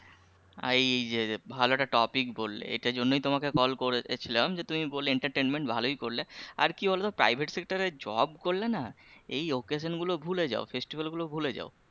এই যে ভালো একটা topic বললে এটার জন্যই তোমাকে call করে ছিলাম যে তুমি বললে entertainment ভালই করলে আর কি বলতো private sector এর job করলে না এই occasion গুলো ভুলে যাও festival গুলো ভুলে যাও